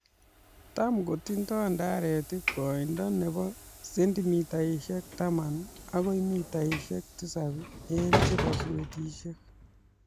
Tam kotindo ndaret koindo nebu seentimitaisiek 10 agoi mitaishek 7 en che boswetishek